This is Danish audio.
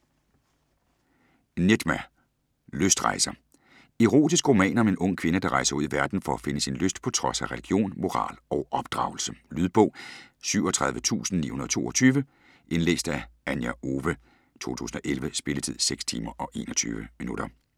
Nedjma: Lystrejser Erotisk roman om en ung kvinde, der rejser ud i verden for at finde sin lyst på trods af religion, moral og opdragelse. Lydbog 37922 Indlæst af Anja Owe, 2011. Spilletid: 6 timer, 21 minutter.